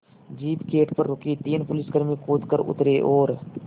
jeep gate पर रुकी तीन पुलिसकर्मी कूद कर उतरे और